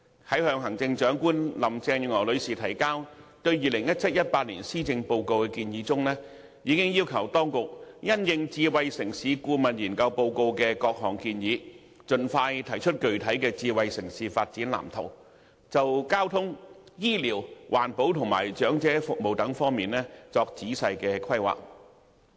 在向行政長官林鄭月娥女士提交對 2017-2018 年度施政報告的建議中，我已經要求當局因應《香港智慧城市藍圖顧問研究報告》的各項建議，盡快提出具體智能城市發展藍圖，就交通、醫療、環保及長者服務等方面作仔細規劃。